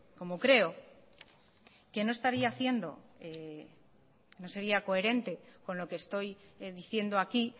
como creo que no estaría haciendo no sería coherente con lo que estoy diciendo aquí